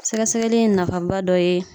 Sɛgɛsɛgɛli ye nafa ba dɔ ye.